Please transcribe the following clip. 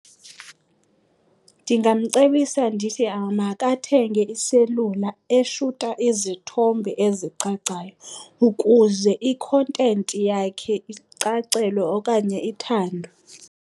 Ndingamcebisa ndithi makathenge iselula eshuta izithombe ezicacayo ukuze ikhontenti yakhe icacelwe okanye ithandwe.